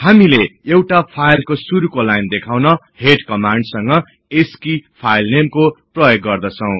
हामीले एउटा फाईलको शुरुको लाइन देखाउन हेड कमान्ड संग अस्की फाईल नेमको प्रयोग गर्दछौ